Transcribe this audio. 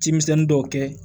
Cimisɛnnin dɔw kɛ